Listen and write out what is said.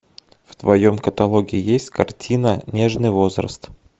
в твоем каталоге есть картина нежный возраст